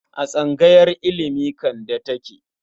A tsangayar ilimi Kande take.